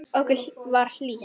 Okkur var hlýtt.